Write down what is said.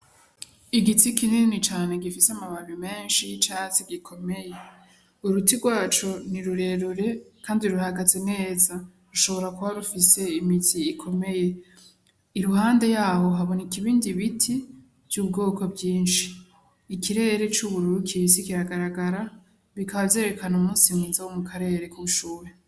Igiti kinini cane gifise amababi meshi y'icatsi gikomeye uruti rwaco ni rurerure kandi ruhagaze neza rushobora kuba rufise imizi ikomeye iruhande yaho haboneka ibindi biiti vy'ubwoko bwishi ikirere c'ubururu kibisi kiragaragara bikaba vyerekana umusi mwiza wo mu karere ku ubushuhe.